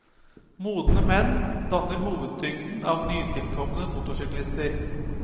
Modne menn danner hovedtyngden av nytilkomne motorsyklister.